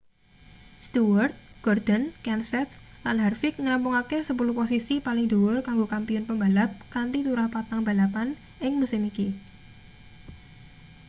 stewart gordon kenseth lan harvick ngrampungake sepuluh posisi paling dhuwur kanggo kampiyun pembalap kanthi turah patang balapan ing musim iki